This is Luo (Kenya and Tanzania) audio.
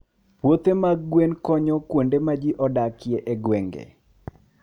Puothe mag gwen konyo kuonde ma ji odakie e gwenge.